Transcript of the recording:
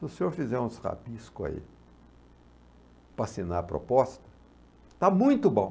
Se o senhor fizer uns rabiscos aí para assinar a proposta, está muito bom.